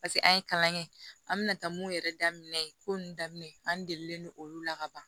Paseke an ye kalan kɛ an mina taa mun yɛrɛ daminɛ yen ko nunnu daminɛ an degelen don olu la ka ban